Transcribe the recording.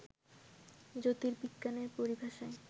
জ্যোতির্বিজ্ঞানের পরিভাষায়